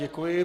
Děkuji.